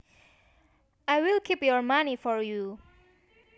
I will keep your money for you